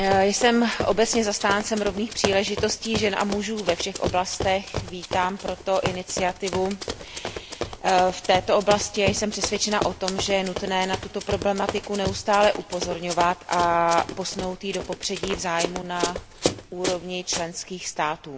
Jsem obecně zastáncem rovných příležitostí žen a mužů ve všech oblastech, vítám proto iniciativu v této oblasti a jsem přesvědčena o tom, že je nutné na tuto problematiku neustále upozorňovat a posunout ji do popředí zájmu na úrovni členských států.